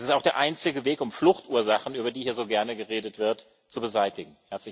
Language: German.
Es ist auch der einzige Weg, um Fluchtursachen, über die hier so gerne geredet wird, zu beseitigen.